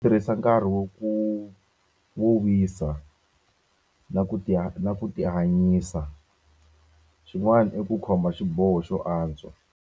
Tirhisa nkarhi wo ku wo wisa na ku ti ha na ku tihanyisa. Swin'wana i ku xiboho xo antswa.